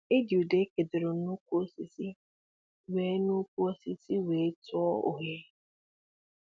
E ji udor é kedoro n'ukwu osisi wē n'ukwu osisi wē tụọ oghere